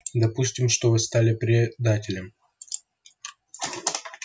допустим что вы стали предателем